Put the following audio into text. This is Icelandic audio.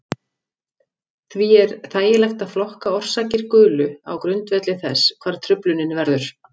Því er þægilegt að flokka orsakir gulu á grundvelli þess hvar truflunin verður.